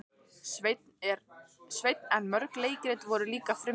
Sveinn en mörg leikrit voru líka frumsamin.